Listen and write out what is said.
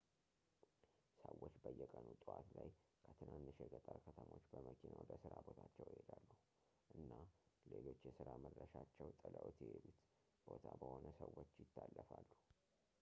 ሰዎች በየቀኑ ጠዋት ላይ ከትናንሽ የገጠር ከተሞች በመኪና ወደ ሥራ ቦታቸው ይሄዳሉ እና ሌሎች የሥራ መድረሻቸው ጥለውት የሔዱት ቦታ በሆነ ሰዎች ይታለፋሉ